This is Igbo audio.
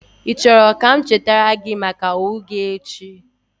Ị chọrọ ka m chetara gị maka owo gi echi?